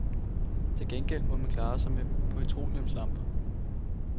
Til gengæld må man klare sig med petroleumslamper.